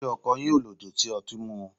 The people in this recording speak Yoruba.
Se ọkọ yin o lodi si ọti mimu?